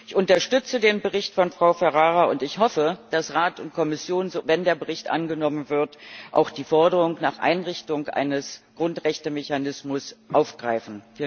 Ich unterstütze den Bericht von Frau Ferrara und ich hoffe, dass Rat und Kommission wenn der Bericht angenommen wird auch die Forderung nach Einrichtung eines Grundrechtemechanismus aufgreifen.